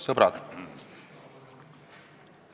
Sõbrad!